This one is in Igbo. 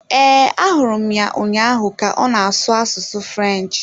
Ee, ahụrụ m ya ụnyaahụ ka ọ na-asụ asụsụ French.